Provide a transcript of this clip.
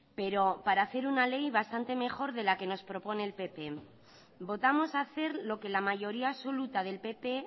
pero para hacer una ley bastante mejor de la que nos propone el pp votamos hacer lo que la mayoría absoluta del pp